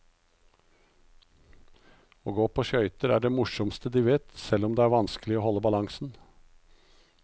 Å gå på skøyter er det morsomste de vet, selv om det er vanskelig å holde balansen.